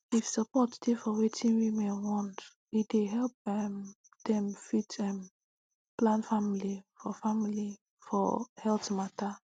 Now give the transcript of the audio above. if support dey for wetin women want e dey help um dem fit um plan family for family for health mata